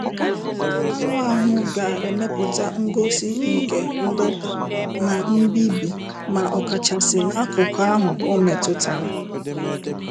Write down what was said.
Anụ ahụ ga-emepụta ngosi nke ndọ̀ta na mbibi ma ọ kachasị n'akụkụ ahụ ọ metụtara